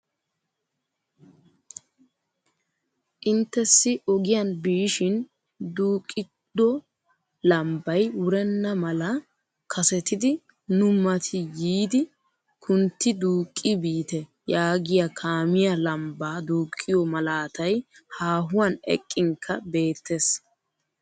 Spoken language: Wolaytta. Intessi ogiyaan biishin duuqqido lambbay wurenna mala kasettidi nu mati yiidi kuntti duuqqi biite yaagiyaa kaamiyaa lambbaa duuqqiyoo malatay haahuwaan eqqinkka beettees!